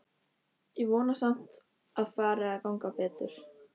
Ég vona samt að fari að ganga betur.